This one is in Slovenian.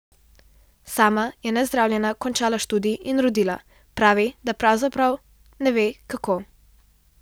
Sama je nezdravljena končala študij in rodila, pravi, da pravzaprav ne ve, kako.